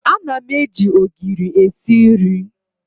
Ana m eji ogiri esi nri.